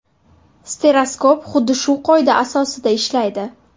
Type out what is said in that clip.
Stereoskop xuddi shu qoida asosida ishlaydi.